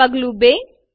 પગલું ૨